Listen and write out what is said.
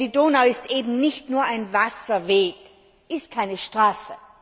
Denn die Donau ist eben nicht nur ein Wasserweg, sie ist keine Straße.